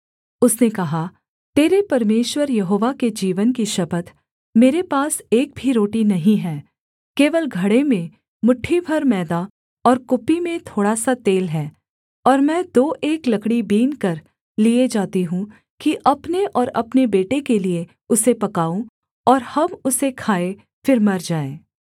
उसने कहा तेरे परमेश्वर यहोवा के जीवन की शपथ मेरे पास एक भी रोटी नहीं है केवल घड़े में मुट्ठी भर मैदा और कुप्पी में थोड़ा सा तेल है और मैं दो एक लकड़ी बीनकर लिए जाती हूँ कि अपने और अपने बेटे के लिये उसे पकाऊँ और हम उसे खाएँ फिर मर जाएँ